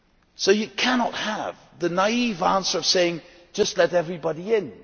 So you cannot have the naive answer of saying just let everybody in.